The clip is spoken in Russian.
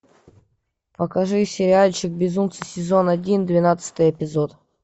покажи сериальчик безумцы сезон один двенадцатый эпизод